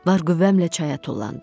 Var qüvvəmlə çaya tullandım.